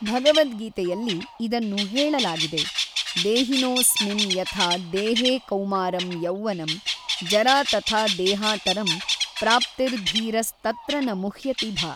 ಭಗವದ್ಗೀತೆಯಲ್ಲಿ ಇದನ್ನು ಹೇಳಲಾಗಿದೆ ದೇಹಿನೋ ಸ್ಮಿನ್ ಯಥಾ ದೇಹೇ ಕೌಮಾರಂ ಯೌವನಂ ಜರಾ ತಥಾ ದೇಹಾತರಂ ಪ್ರಾಪ್ತಿರ್ ಧೀರಸ್ ತತ್ರ ನ ಮುಹ್ಯತಿ ಭ.